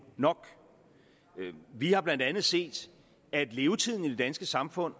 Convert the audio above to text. nok vi har blandt andet set at levetiden i det danske samfund